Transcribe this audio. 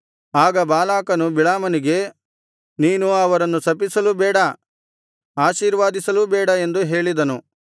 ಆಗ ಬಾಲಾಕನು ಬಿಳಾಮನಿಗೆ ನೀನು ಅವರನ್ನು ಶಪಿಸಲೂ ಬೇಡ ಆಶೀರ್ವದಿಸಲೂ ಬೇಡ ಎಂದು ಹೇಳಿದನು